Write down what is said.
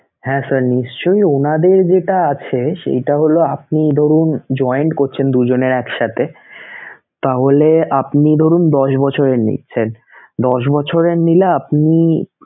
হ্যা sir নিশ্চয়ই উনাদের যেটা আছে সেইটা হলো আপনি ধরুন joint করছেন দুইজনের একসাথে তাহলে আপনি ধরুন দশ বছরের নিচ্ছেন দশ বছরের নিলে আপনি